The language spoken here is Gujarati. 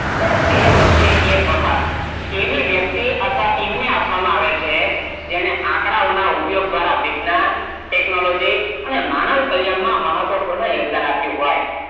દર બે વર્ષે એક વખત આવી વ્યક્તિ અથવા ટિમ ને આપવામાં આવે છે જેને આંકડાઓનો ઉપયોગ દ્રારા વિજ્ઞાન ટેકનોલોજી અનેમાનવ કલ્યાણ માં મહત્વ પૂર્ણ યોગદાન આપીયું હોય